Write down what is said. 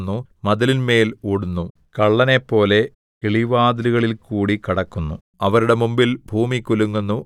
അവർ പട്ടണത്തിൽ ചാടിക്കടക്കുന്നു മതിലിന്മേൽ ഓടുന്നു വീടുകളിൽ കയറുന്നു കള്ളനെപ്പോലെ കിളിവാതിലുകളിൽകൂടി കടക്കുന്നു